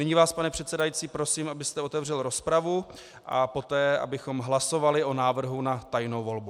Nyní vás, pane předsedající, prosím, abyste otevřel rozpravu, a poté abychom hlasovali o návrhu na tajnou volbu.